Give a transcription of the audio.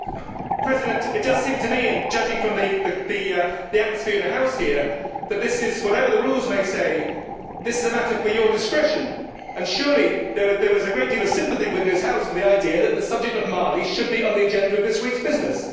Mr President, it does seem to me, and judging from the atmosphere in the House here, that this is, whatever the rules may say, a matter for your discretion and surely there was a great deal of sympathy within this House with the idea that the subject of Mali should be on the agenda of this week's business.